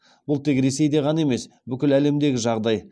бұл тек ресейде ғана емес бүкіл әлемдегі жағдай